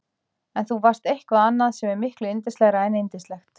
En þú varst eitthvað annað sem er miklu yndislegra en yndislegt.